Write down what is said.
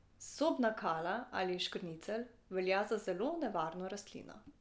Sobna kala ali škrnicelj velja za zelo nevarno rastlino.